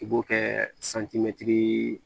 I b'o kɛ santimɛtiri